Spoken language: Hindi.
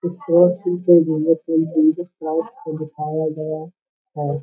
इस प्रो स्कूल के जरिए इंग्लिश को दिखाया गया है।